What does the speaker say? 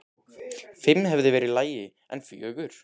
Fimm hefði verið í lagi, en fjögur?!?!?